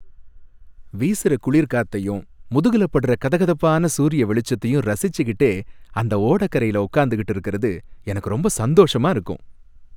வீசுற குளிர் காத்தையும், முதுகுல படுற கதகதப்பான சூரிய வெளிச்சத்தையும் ரசிச்சுகிட்டே அந்த ஓடக்கரையில உக்காந்துக்கிட்டு இருக்குறது எனக்கு ரொம்ப சந்தோஷமா இருக்கும்.